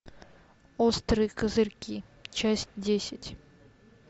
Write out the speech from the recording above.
острые козырьки часть десять